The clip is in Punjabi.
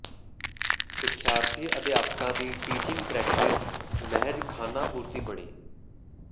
ਸਿੱਖਿਆਰਥੀ ਅਧਿਆਪਕਾਂ ਦੀ ਟੀਚਿੰਗ ਪ੍ਰੈਕਟਿਸ ਮਹਿਜ਼ ਖਾਨਾ ਪੂਰਤੀ ਬਣੀ